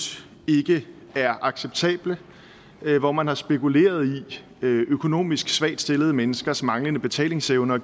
ikke er acceptable hvor man har spekuleret i økonomisk svagt stillede menneskers manglende betalingsevne og